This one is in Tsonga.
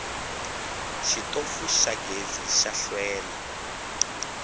xitofu xa gezi xa hlwela